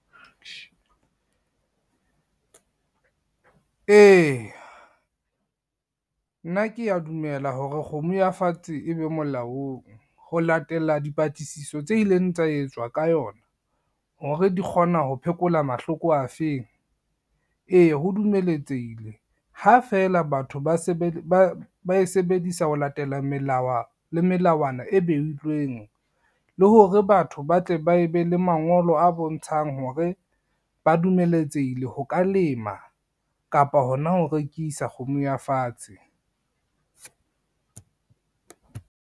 E, nna kea dumela hore kgomo ya fatshe e be molaong, ho latela dipatlisiso tse ileng tsa etswa ka yona hore di kgona ho phekola mahloko a feng, e ho dumeletsehile ha feela batho ba e sebedisa ho latela melao le melawana e beilweng le hore batho ba tle ba e be le mangolo a bontshang hore ba dumeletsehile ho ka lema kapa hona ho rekisa kgomo ya fatshe.